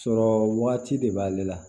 Sɔrɔ waati de b'ale la